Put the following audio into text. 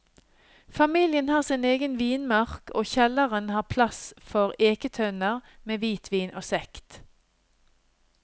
Familien har sin egen vinmark og kjelleren har plass for eketønner med hvitvin og sekt.